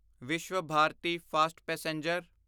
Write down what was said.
Vishwabharati fast passenger